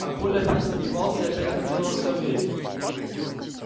а коля опять сомневался и опять хотел во всё верить